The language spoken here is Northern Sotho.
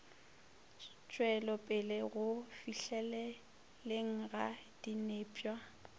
tšwelopele go fihleleleng ga dinepša